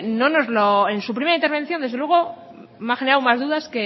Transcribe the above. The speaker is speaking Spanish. no nos lo en su primera intervención desde luego me ha generado más dudas